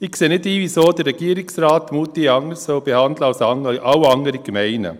Ich sehe nicht ein, wieso der Regierungsrat Moutier anders behandeln sollte als alle anderen Gemeinden.